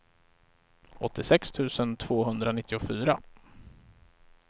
åttiosex tusen tvåhundranittiofyra